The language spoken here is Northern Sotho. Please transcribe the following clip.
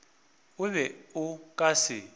o be o ka se